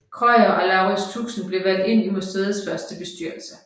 Krøyer og Laurits Tuxen blev valgt ind i museets første bestyrelse